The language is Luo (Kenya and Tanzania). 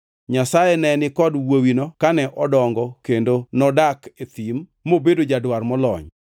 Nyasaye ne ni kod wuowino kane odongo kendo nodak e thim mobedo jadwar molony.